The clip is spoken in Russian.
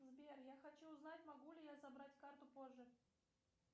сбер я хочу узнать могу ли я забрать карту позже